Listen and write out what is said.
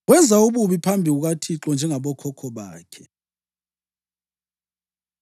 Wenza ububi phambi kukaThixo, njengabokhokho bakhe.